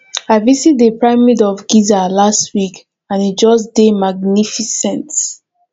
i visit the pyramid of giza last week and e just dey magnificent